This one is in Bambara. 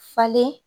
Falen